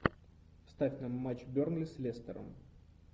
ставь нам матч бернли с лестером